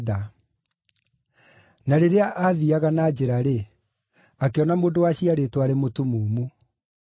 Na rĩrĩa aathiiaga na njĩra-rĩ, akĩona mũndũ waciarĩtwo arĩ mũtumumu.